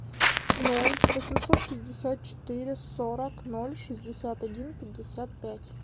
ноль восемьсот шестьдесят четыре сорок ноль шестьдесят один пятьдесят пять